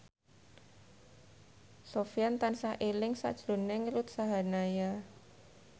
Sofyan tansah eling sakjroning Ruth Sahanaya